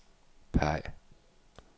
peg